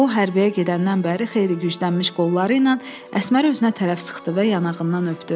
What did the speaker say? O hərbiyə gedəndən bəri xeyli güclənmiş qolları ilə Əsməri özünə tərəf sıxdı və yanağından öpdü.